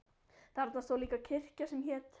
Þarna stóð líka kirkja sem hét